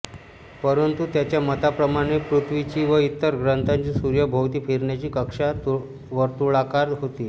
परंतु त्याच्या मताप्रमाणे पृथ्वीची व इतर ग्रहांची सूर्याभोवती फिरण्याची कक्षा वर्तुळाकार होती